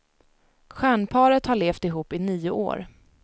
Stjärnparet har levt ihop i nio år.